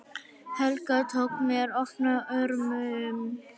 Helga tók mér opnum örmum.